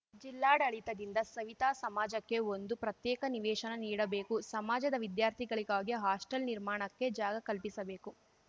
ಜಿಲ್ಲಾಡಳಿತದಿಂದ ಸವಿತಾ ಸಮಾಜಕ್ಕೆ ಒಂದು ಪ್ರತ್ಯೇಕ ನಿವೇಶನ ನೀಡಬೇಕು ಸಮಾಜದ ವಿದ್ಯಾರ್ಥಿಗಳಿಗಾಗಿ ಹಾಸ್ಟಲ್‌ ನಿರ್ಮಾಣಕ್ಕೆ ಜಾಗ ಕಲ್ಪಿಸಬೇಕು